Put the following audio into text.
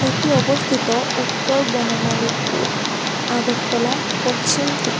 এটি অবস্থিত উত্তর বনমালীপুর আগরতলা পশ্চিম ত্রিপ--